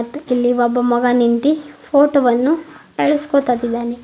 ಮತ್ತು ಇಲ್ಲಿ ಒಬ್ಬ ನಿಂತಿ ಫೋಟೋ ವನ್ನು ಎಳೆಸ್ಕೋತ್ತಿದ್ದಾನೆ.